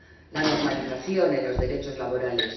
la normalización en los derechos laborales.